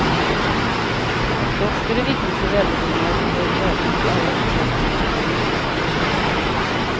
Att dofter är viktigt för välbefinnandet har varit välkänt i alla stora kulturer i årtusenden.